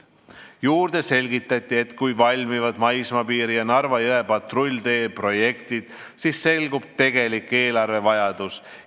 Juurde selgitati, et kui valmivad maismaapiiri ja Narva jõe patrulltee projektid, siis selgub tegelik eelarvevajadus.